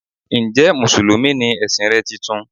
Njẹ́ musulumi ni ẹ̀sìn rẹ titun?